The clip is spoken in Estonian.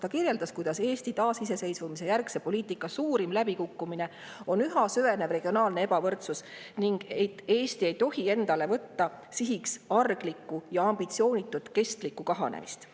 Ta kirjeldas, kuidas Eesti taasiseseisvumise järgse poliitika suurim läbikukkumine on üha süvenev regionaalne ebavõrdsus, ning et Eesti ei tohi endale võtta sihiks arglikku ja ambitsioonitut kestlikku kahanemist.